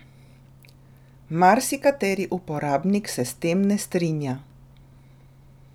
Marsikateri uporabnik se s tem ne strinja.